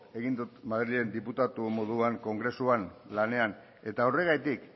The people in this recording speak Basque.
egin ditut madrilen diputatu moduan kongresuan lanean eta horregatik